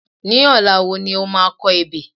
Ní ọ̀la wo ni o máa kọ ebè?